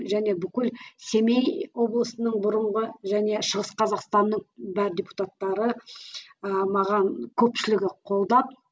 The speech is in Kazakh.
және бүкіл семей облысының бұрынғы және шығыс қазақстанның бар депутаттары ы маған көпшілігі қолдап